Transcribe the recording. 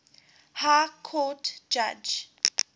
high court judge